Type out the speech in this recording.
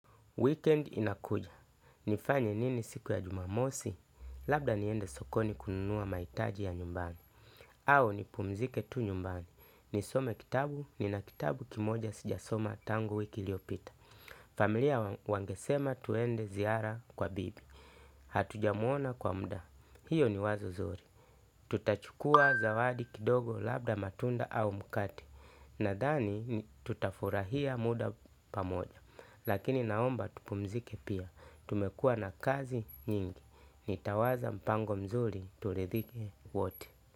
Weekend inakuja. Nifanye nini siku ya jumamosi? Labda niende sokoni kununua mahitaji ya nyumbani. Au nipumzike tu nyumbani. Nisome kitabu, nina kitabu kimoja sijasoma tangu wiki iliyopita. Familia wangesema twende ziara kwa bibi. Hatujamuona kwa muda. Hiyo ni wazo nzuri. Tutachukua zawadi kidogo labda matunda au mkate. Nadhani tutafurahia muda pamoja. Lakini naomba tupumzike pia. Tumekua na kazi nyingi. Nitawaza mpango mzuri turidhike wote.